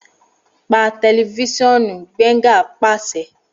Pa tẹlifisiọnuBenga paṣẹ